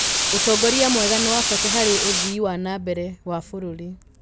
ũtongoria mwega nĩ wa bata harĩ ũthii wa na mbere wa bũrũri.